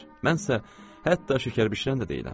Mən isə hətta şəkər bişirən də deyiləm.